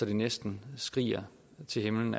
det næsten skriger til himlen